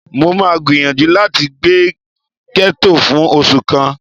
Mó máa gbìyànjú láti gbé gẹ́tò fún oṣù kan